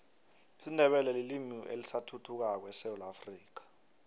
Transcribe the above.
isindebele lilimi elisathuthukako esewula afrika